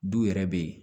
Du yɛrɛ bɛ yen